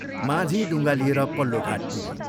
माझी डुङ्गा लिएर पल्लो घाट पुग्यो।